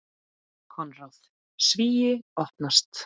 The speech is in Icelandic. Konráð: Svíi opnast.